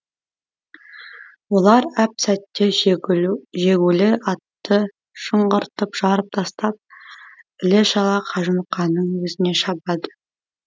олар әп сәтте жегулі атты шыңғыртып жарып тастап іле шала қажымұқанның өзіне шабады